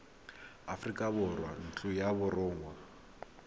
aforika borwa ntlo ya borongwa